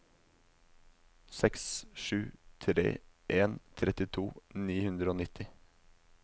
seks sju tre en trettito ni hundre og nitti